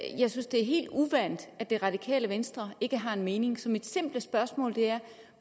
synes det er helt uvant at det radikale venstre ikke har en mening så mit simple spørgsmål er